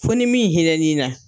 Fo nin min hinɛ n'i na.